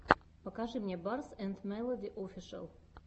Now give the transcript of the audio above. покажи мне барс энд мелоди офишэл